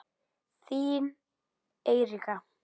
Þín Eiríka.